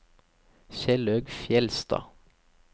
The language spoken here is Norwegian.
Kjellaug Fjellstad